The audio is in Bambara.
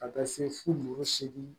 Ka taa se fo dugu segin